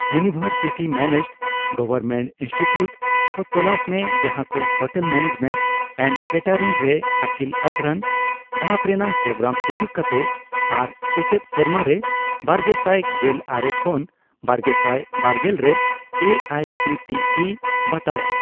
University managed government institute ᱠᱚ ᱛᱚᱞᱟᱥ ᱢᱮ ᱡᱟᱦᱟᱠᱚ ᱦᱳᱴᱮᱞ ᱢᱮᱱᱮᱡᱢᱮᱱᱴ ᱮᱱᱰ ᱠᱮᱴᱮᱨᱤᱝ ᱨᱮ ᱟᱹᱠᱤᱞ ᱟᱵᱷᱨᱟᱱ ᱫᱷᱟᱯ ᱨᱮᱱᱟᱜ ᱯᱨᱳᱜᱨᱟᱢ ᱥᱩᱡᱩᱠ ᱠᱟᱛᱮ ᱟᱨ ᱥᱮᱪᱮᱫ ᱥᱮᱨᱢᱟᱨᱮ ᱵᱟᱨᱜᱮᱥᱟᱭ ᱜᱮᱞ ᱟᱨᱮ ᱠᱷᱚᱱ ᱵᱟᱨᱜᱮᱥᱟᱭ ᱵᱟᱨᱜᱮᱞ ᱨᱮ A I C T E ᱵᱟᱛᱟᱣᱟᱜ ᱾